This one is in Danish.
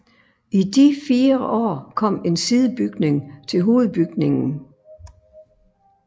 I de fire år kom en sidebygning til hovedbygningen